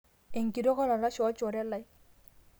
enkitok olalashe olchore lai